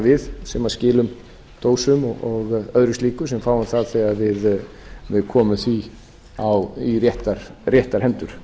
við sem skilum dósum og öðru slíku og fáum það þegar við komum því í réttar hendur